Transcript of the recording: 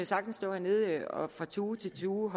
sagtens stå hernede og fra tue til tue og